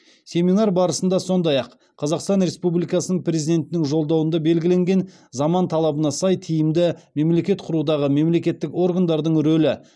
семинар барысында сондай ақ қазақстан республикасының президентінің жолдауында белгілеген заман талабына сай тиімді мемлекет құрудағы мемлекеттік органдардың рөлі